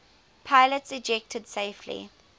pilots ejected safely